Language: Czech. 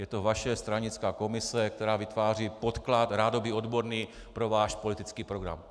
Je to vaše stranická komise, která vytváří podklad, rádoby odborný, pro váš politický program.